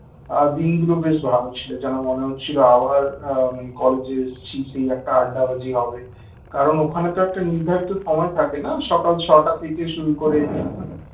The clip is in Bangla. দিনগুলো বেশ ভালো ছিল যেন মনে হচ্ছিল আবার আহ কলেজে এসেছি সেই একটা আড্ডাবাজি হবে কারণ ওখানে তো একটা নির্ধারিত সময় থাকে না সকাল ছয়টা থেকে শুরু করে